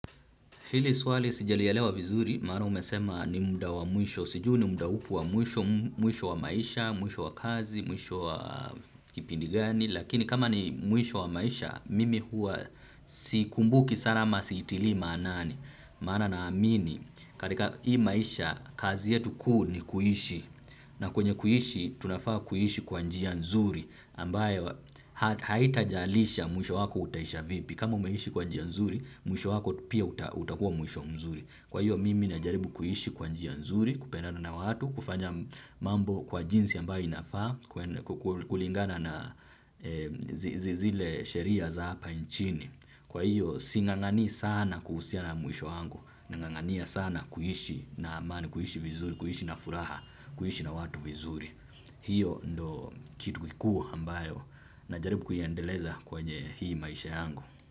Hili swali sijalielewa vizuri, maana umesema ni muda wamwisho, sijui ni muda upi wamwisho, mwisho wa maisha, mwisho wa kazi, mwisho wa kipindi gani, lakini kama ni mwisho wa maisha, mimi huwa sikumbuki sana ama siitiliimaanani, maana naamini, katika hii maisha, kazi yetu kuu ni kuishi, na kwenye kuishi, tunafaa kuishi kwanjia nzuri, ambayo haitajalisha mwisho wako utaisha vipi, kama umeishi kwanjia nzuri, mwisho wako pia utakuwa mwisho mzuri. Kwa hiyo, mimi najaribu kuiishi kwa njia nzuri, kupendana na watu, kufanya mambo kwa jinsi ambayo inafaa, kulingana na zile sheria za hapa nchini. Kwa hiyo, si ng'ang'anii sana kuhusiana na mwisho wangu, nang'ang'ania sana kuishi na amani, kuishi vizuri, kuishi na furaha, kuishi na watu vizuri. Hiyo ndio kitu kikuu ambayo najaribu kuiendeleza kwenye hii maisha yangu.